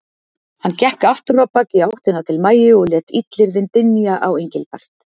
Hann gekk aftur á bak í áttina til Maju og lét illyrðin dynja á Engilbert.